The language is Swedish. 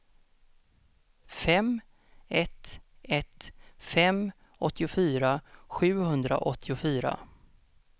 fem ett ett fem åttiofyra sjuhundraåttiofyra